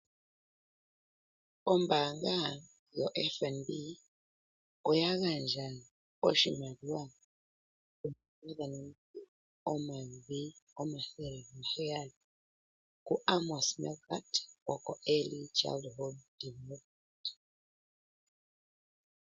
Ombanga yoFNB oya gandja oshimaliwa shoondola dhaNamibia omayovi omathele gaheyali kuAmos Meerkat gokoEarly Childhood Development.